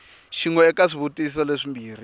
xin we eka swivutiso leswimbirhi